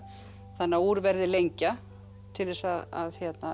þannig að úr verði lengja til þess að